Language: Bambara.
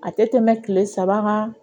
A tɛ tɛmɛ kile saba kan